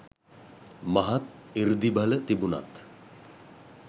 මහත් සෘද්ධිබල තිබුණත්